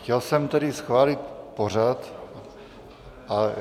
Chtěl jsem tedy schválit pořad...